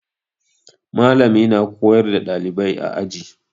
Mallami na koyar da ɗalibai a aji.